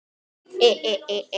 Niðurstöður þyngdarmælinga.